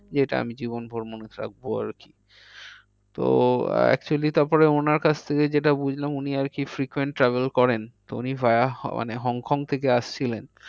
যেটা আমি জীবন ভোর মনে রাখবো আর কি তো actually তারপরে ওনার কাছ থেকে যেটা বুঝলাম উনি আর কি frequent travel করেন। তো উনি via মানে হংকং থেকে আসছিলেন।